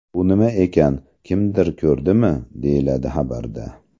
Bu nima ekan, kimdir ko‘rdimi?” deyiladi xabarda.